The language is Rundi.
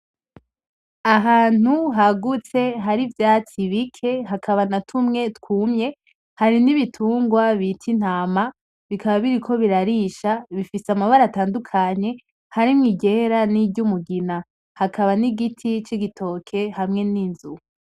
Ahantu hagutse hari ivyatsi bike hakaba na tumwe twumye, hari ibitungwa bita intama bikaba biriko birarisha, bifise amabara atandukanye harimwo iryera ni ry'umugina. Hakaba n'igiti cigitoke hamwe n'inzu.